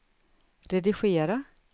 redigera